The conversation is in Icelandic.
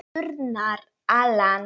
Turnar, Alan.